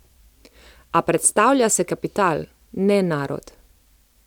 A predstavlja se kapital, ne narod.